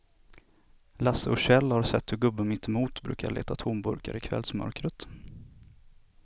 Lasse och Kjell har sett hur gubben mittemot brukar leta tomburkar i kvällsmörkret.